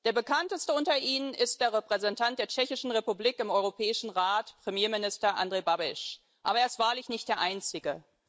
Der bekannteste unter ihnen ist der Repräsentant der Tschechischen Republik im Europäischen Rat, Premierminister Andrej Babiš. Aber er ist wahrlich nicht der einzige.